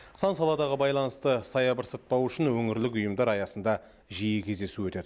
сан саладағы байланысты саябырсытпау үшін өңірлік ұйымдар аясында жиі кездесу өтеді